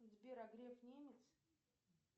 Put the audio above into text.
сбер а греф немец